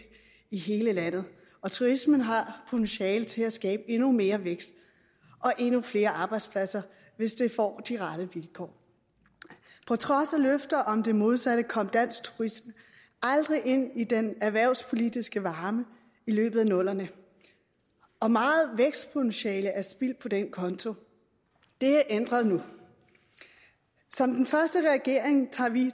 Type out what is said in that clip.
i hele landet og turismen har potentiale til at skabe endnu mere vækst og endnu flere arbejdspladser hvis den får de rette vilkår på trods af løfter om det modsatte kom dansk turisme aldrig ind i den erhvervspolitiske varme i løbet af nullerne og meget vækstpotentiale er spildt på den konto det er ændret nu som den første regering tager vi